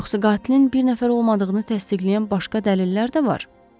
Yoxsa qatilin bir nəfər olmadığını təsdiqləyən başqa dəlillər də var?